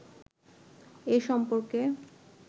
এ সম্পর্কে